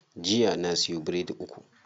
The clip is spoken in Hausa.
Jiya na siyo biredi uku.